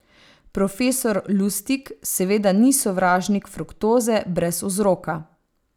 Profesor Lustig seveda ni sovražnik fruktoze brez vzroka.